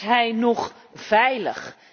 Is hij nog veilig?